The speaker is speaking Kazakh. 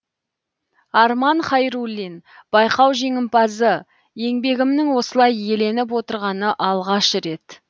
арман хайруллин байқау жеңімпазы еңбегімнің осылай еленіп отырғаны алғаш рет